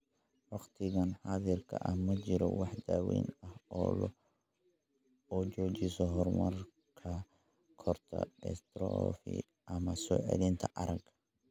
Waqtigan xaadirka ah, ma jirto wax daawayn ah oo joojisa horumarka koorta dystrophy ama soo celinta aragga.